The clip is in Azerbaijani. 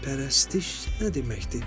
Pərəstiş nə deməkdir?